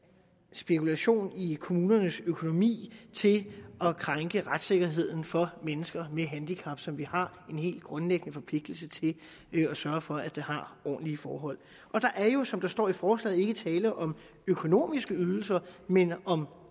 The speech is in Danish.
spekulation i kommunernes økonomi til at krænke retssikkerheden for mennesker med handicap som vi har en helt grundlæggende forpligtelse til at sørge for har ordentlige forhold og der er jo som der står i forslaget ikke tale om økonomiske ydelser men om